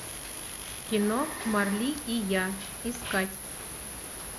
кино марли и я искать